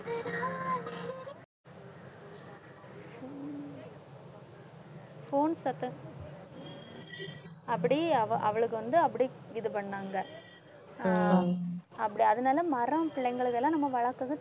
phone சத்தம் அப்படி அவ அவளுக்கு வந்து அப்படி இது பண்ணாங்க ஆஹ் அப்படி அதனால மரம் பிள்ளைங்களுக்கெல்லாம் நம்ம வளர்க்கறது